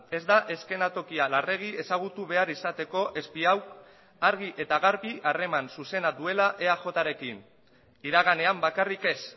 ez da eszenatokia larregi ezagutu behar izateko espiau argi eta garbi harreman zuzena duela eajrekin iraganean bakarrik ez